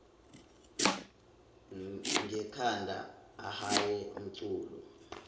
ngekhanda ahaye umculo